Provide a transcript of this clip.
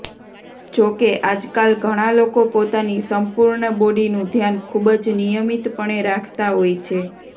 જો કે આજકાલ ઘણા લોકો પોતાની સંપૂર્ણ બોડીનું ધ્યાન ખૂબ જ નિયમિતપણે રાખતા હોય છે